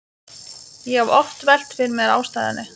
Ég hef oft velt fyrir mér ástæðunni.